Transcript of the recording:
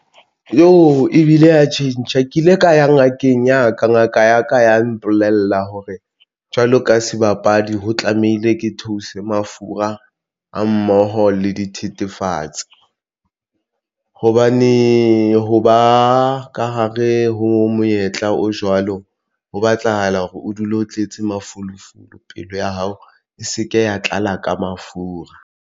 Jo! ebile ya tjhentjha ke ile ka ya ngakeng ya ka ngaka ya ka ya mpolella hore jwalo ka sebapadi ho tlamehile ke theose mafura a mmoho le dithethefatsi hobane ha ba ka hare ho monyetla o jwalo ho batlahala hore o dule o tletse mafolofolo pelo ya hao e se ke ya tlala ka mafura.